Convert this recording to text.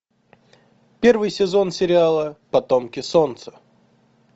первый сезон сериала потомки солнца